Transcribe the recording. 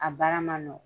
A baara ma nɔgɔn